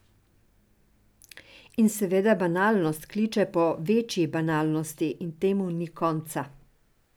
In seveda banalnost kliče po večji banalnosti in temu ni konca.